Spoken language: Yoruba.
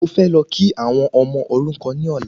Mo fẹ́ lọ kí àwọn ọmọ òrukan ní ọ̀la